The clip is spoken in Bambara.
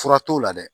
Fura t'o la dɛ